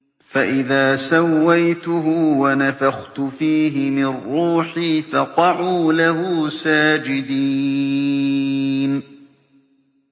فَإِذَا سَوَّيْتُهُ وَنَفَخْتُ فِيهِ مِن رُّوحِي فَقَعُوا لَهُ سَاجِدِينَ